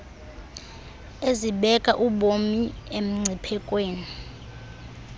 ezibeka ubomi emngciphekweni